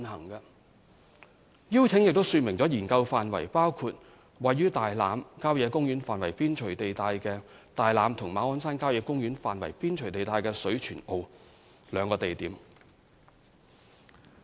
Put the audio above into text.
是項邀請亦說明，研究範圍包括分別位於大欖郊野公園範圍邊陲地帶的大欖，以及馬鞍山郊野公園範圍邊陲地帶的水泉澳這兩個地點。